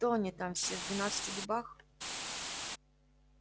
кто они там все в двенадцати дубах